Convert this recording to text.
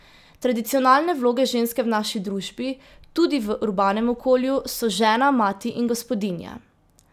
Tradicionalne vloge ženske v naši družbi, tudi v urbanem okolju, so žena, mati in gospodinja.